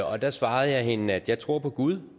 og der svarede jeg hende at jeg tror på gud